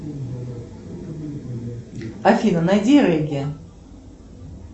афина найди регги